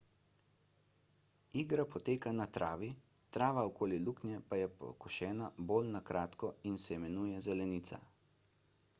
igra poteka na travi trava okoli luknje pa je pokošena bolj na kratko in se imenuje zelenica